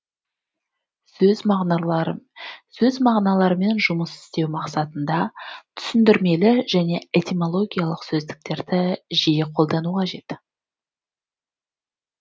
сөз мағыналарымен жұмыс істеу мақсатында түсіндірмелі және этимологиялық сөздіктерді жиі қолдану қажет